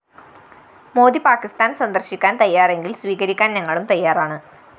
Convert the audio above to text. മോദി പാക്കിസ്ഥാന്‍ സന്ദര്‍ശിക്കാന്‍ തയ്യാറെങ്കില്‍ സ്വീകരിക്കാന്‍ ഞങ്ങളും തയ്യാറാണ്‌